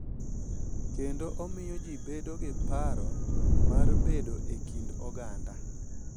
Kendo omiyo ji bedo gi paro mar bedo e kind oganda.